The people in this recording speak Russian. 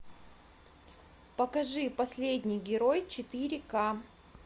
покажи последний герой четыре к